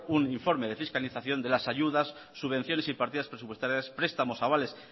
un informe de fiscalización de las ayudas subvenciones y partidas presupuestarias prestamos avales